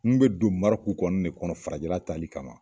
N be don marɔku kɔni de kɔnɔ farajɛla taali kama